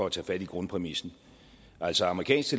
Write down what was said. at tage fat i grundpræmissen altså amerikansk